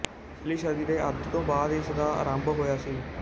ਪਿਛਲੀ ਸਦੀ ਦੇ ਅੱਧ ਤੋਂ ਬਾਅਦ ਇਸ ਦਾ ਆਰੰਭ ਹੋਇਆ ਸੀ